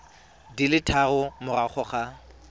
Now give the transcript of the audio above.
di le tharo morago ga